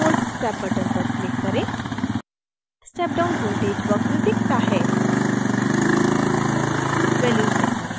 5 to 0v step button पर click करें step down voltage वक्र दिखता है